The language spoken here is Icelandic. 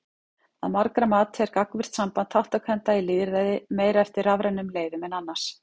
Að margra mati er gagnvirkt samband þátttakenda í lýðræði meira eftir rafrænum leiðum en annars.